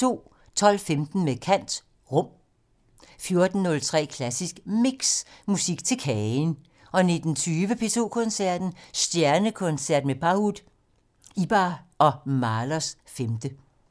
12:15: Med kant - Rum 14:03: Klassisk Mix - Musik til kagen 19:20: P2 Koncerten - Stjernekoncert: Pahud, Ibert og Mahlers 5